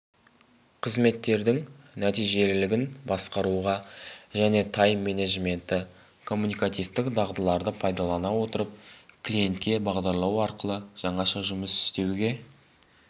қызметтердің нәтижелілігін басқаруға және тайм-менеджментті коммуникативтік дағдыларды пайдалана отырып клиентке бағдарлану арқылы жаңаша жұмыс істеуге